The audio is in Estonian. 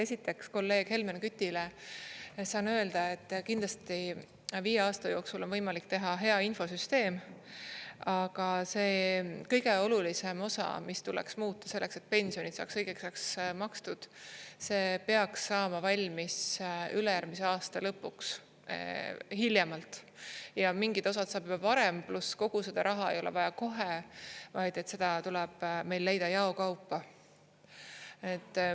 Esiteks, kolleeg Helmen Kütile saan öelda, et kindlasti viie aasta jooksul on võimalik teha hea infosüsteem, aga see kõige olulisem osa, mis tuleks muuta selleks, et pensionid saaks õigeks ajaks makstud, see peaks saama valmis ülejärgmise aasta lõpuks hiljemalt ja mingid osad saab juba varem, pluss kogu seda raha ei ole vaja kohe, vaid seda tuleb meil leida jao kaupa.